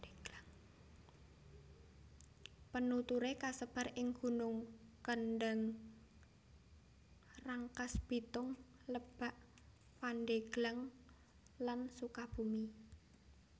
Penuturé kasebar ing gunung Kendeng Rangkasbitung Lebak Pandeglang lan Sukabumi